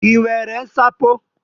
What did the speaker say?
I nwere nsapo?